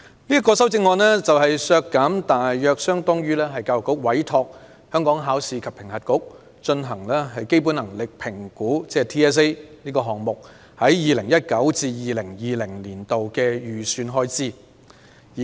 我建議削減的款額大約相當於教育局委託香港考試及評核局進行基本能力評估)項目在 2019-2020 年度的預算開支。